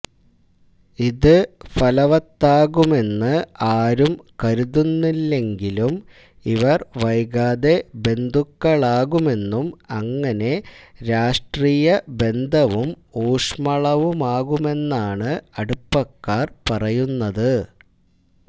ഇത് ഫലവത്താകുമെന്ന് ആരും കരുതുന്നില്ലെങ്കിലും ഇവര് വൈകാതെ ബന്ധുക്കളാകുമെന്നും അങ്ങനെ രാഷ്ട്രീയ ബന്ധവും ഊഷ്മളമാകുമെന്നുമാണ് അടുപ്പക്കാര് പറയുന്നത്